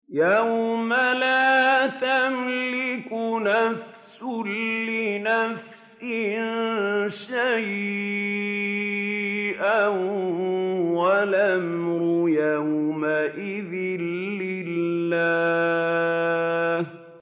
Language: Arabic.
يَوْمَ لَا تَمْلِكُ نَفْسٌ لِّنَفْسٍ شَيْئًا ۖ وَالْأَمْرُ يَوْمَئِذٍ لِّلَّهِ